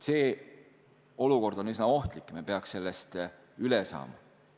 See olukord on üsna ohtlik ja me peaks sellest üle saama.